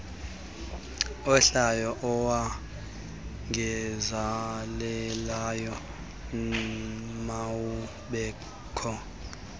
ohlayo owongezelelweyo mawubekho